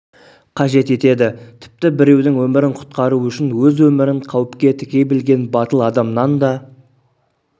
қажет етеді тіпті біреудің өмірін құтқару үшін өз өмірін қауіпке тіге білген батыл адамнан да